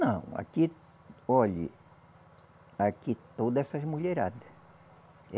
Não, aqui, olhe aqui toda essas mulherada.